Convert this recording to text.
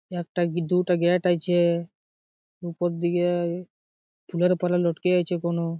একটা কি দুইটা গ্যাট আছে উপর দিকে চুলের পারা লটকে আছে কোনো।